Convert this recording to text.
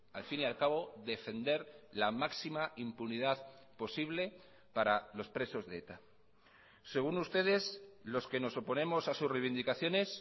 al fin y al cabo defender la máxima impunidad posible para los presos de eta según ustedes los que nos oponemos a sus reivindicaciones